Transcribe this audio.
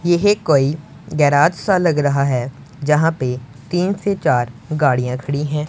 यह कोई गैरेज सा लग रहा है। जहां पे तीन से चार गाड़ियां खड़ी है।